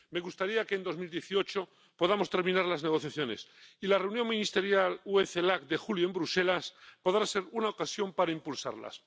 Me gustaría que en 2018 podamos terminar las negociaciones, y la Reunión Ministerial UE Celac de julio, en Bruselas, podrá ser una ocasión para impulsarlas.